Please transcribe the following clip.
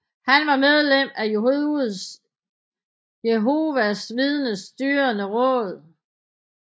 Han var medlem af Jehovas Vidners Styrende Råd